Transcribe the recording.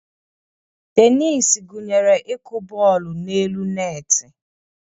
Tenis gụnyere ịkụ bọọlụ n'elu netị.